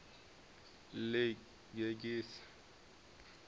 ḽigegise